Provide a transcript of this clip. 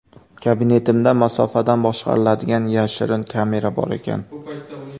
Kabinetimda masofadan boshqariladigan yashirin kamera bor ekan.